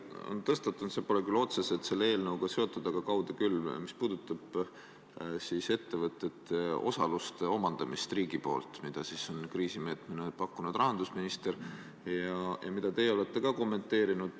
On tõstatunud küsimus, mis pole selle eelnõuga otseselt seotud, aga kaude küll, ja see puudutab riigipoolset ettevõtete osaluste omandamist, mida on kriisimeetmena pakkunud rahandusminister ja mida olete ka teie kommenteerinud.